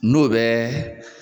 N'o bɛ